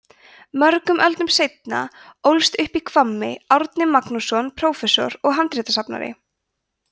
mörgum öldum seinna ólst upp í hvammi árni magnússon prófessor og handritasafnari